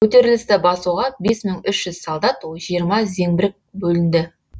көтерілісті басуға бес мың үш жүз солдат жиырма зеңбірек бөлінді